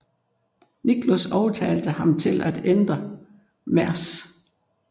Nichols overtalte ham til at ændre Mrs